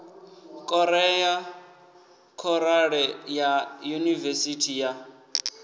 korea khorale ya yunivesithi ya